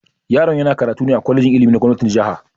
Yaron yana karatu ne a kwalejin ilimi na gomnatin jiha.